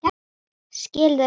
Skil þau ekki.